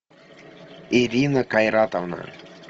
ирина кайратовна